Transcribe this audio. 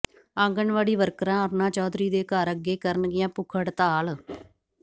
ਆਂਗਨਵਾੜੀ ਵਰਕਰਾਂ ਅਰੁਣਾ ਚੌਧਰੀ ਦੇ ਘਰ ਅੱਗੇ ਕਰਨਗੀਆਂ ਭੁੱਖ ਹੜਤਾਲ